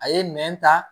A ye nɛn ta